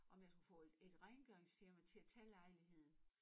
Om jeg skulle få et et rengøringsfirma til at tage lejligheden